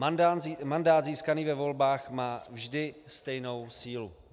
Mandát získaný ve volbách má vždy stejnou sílu.